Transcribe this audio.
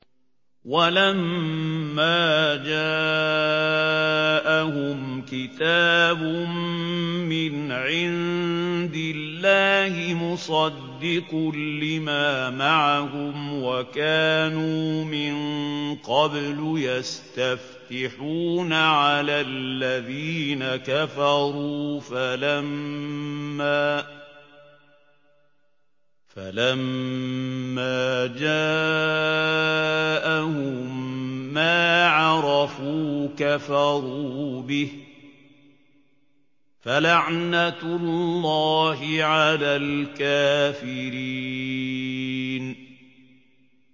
وَلَمَّا جَاءَهُمْ كِتَابٌ مِّنْ عِندِ اللَّهِ مُصَدِّقٌ لِّمَا مَعَهُمْ وَكَانُوا مِن قَبْلُ يَسْتَفْتِحُونَ عَلَى الَّذِينَ كَفَرُوا فَلَمَّا جَاءَهُم مَّا عَرَفُوا كَفَرُوا بِهِ ۚ فَلَعْنَةُ اللَّهِ عَلَى الْكَافِرِينَ